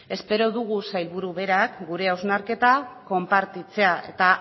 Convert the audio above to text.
espero dugu sailburua berak gure hausnarketa konpartitzea eta